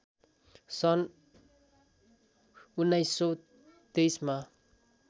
सन् १९२३ मा